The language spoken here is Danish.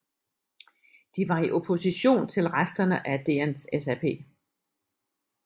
De var i opposition til resterne af DNSAP